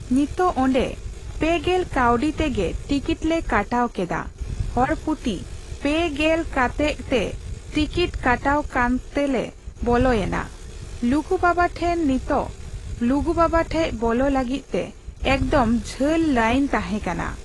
ᱱᱤᱛᱚᱜ ᱚᱸᱰᱮ ᱯᱮ ᱜᱮᱞ ᱠᱟᱣᱰᱤ ᱛᱮᱜᱮ ᱴᱤᱠᱤᱛᱞᱮ ᱠᱟᱴᱟᱣ ᱠᱮᱫᱟ ᱦᱚᱲᱯᱩᱛᱤ ᱯᱮ ᱜᱮᱞ ᱠᱟᱛᱮᱜ ᱛᱮ ᱴᱤᱠᱤᱛ ᱠᱟᱴᱟᱣ ᱠᱟᱛᱮᱜᱞᱮ ᱵᱚᱞᱚᱭᱮᱱᱟ ᱞᱩᱜᱩ ᱵᱟᱵᱟ ᱴᱷᱮᱱ ᱱᱤᱛᱚᱜ ᱞᱩᱜᱩ ᱵᱟᱵᱟ ᱴᱷᱮᱡ ᱵᱚᱞᱚᱜ ᱞᱟᱹᱜᱤᱫ ᱛᱮ ᱮᱠᱫᱚᱢ ᱡᱷᱟᱹᱞ ᱞᱟᱭᱤᱱ ᱛᱟᱦᱮᱸ ᱠᱟᱱᱟ ᱾